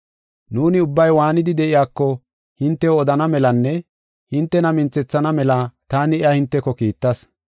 Nuuni ubbay waanidi de7iyako hintew odana melanne hintena minthethana mela taani iya hinteko kiittas.